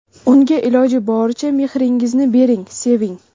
Unga iloji boricha mehringizni bering, seving!